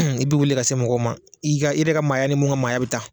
I bɛ wuli ka se mɔgɔw ma, i ka i yɛrɛ ka maaya ni mun ka maaya bɛ taa.